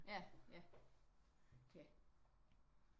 Ja ja ja